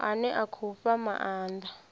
ane a khou fha maanda